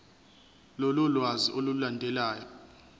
lolu lwazi olulandelayo